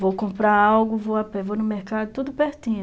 Vou comprar algo, vou a pé, vou no mercado, tudo pertinho.